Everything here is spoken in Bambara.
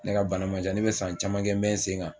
Ne ka bana man can ne bɛ san caman kɛ n bɛ sen kan.